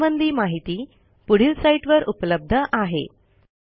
यासंबंधी माहिती पुढील साईटवर उपलब्ध आहे